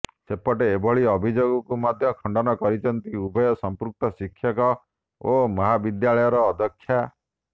ସେପଟେ ଏଭଳି ଅଭିଯୋଗକୁ ମଧ୍ୟ ଖଣ୍ଡନ କରିଛନ୍ତି ଉଭୟ ସମ୍ପୃକ୍ତ ଶିକ୍ଷକ ଓ ମହାବିଦ୍ୟାଳୟର ଅଧ୍ୟକ୍ଷା